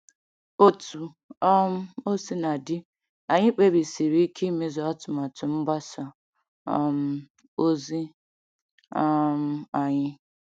Otú um o sina dị, anyị kpebisiri ike imezu atụmatụ mgbasa um ozi um anyị.